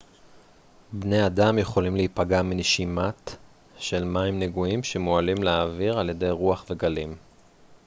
בני אדם יכולים להיפגע מנשימת של מים נגועים שמועלים לאוויר על ידי רוח וגלים